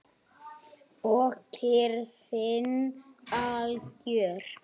Og kyrrðin algjör.